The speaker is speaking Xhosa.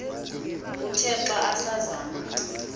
uthe xa asazama